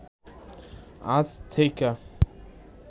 আজ থেইকা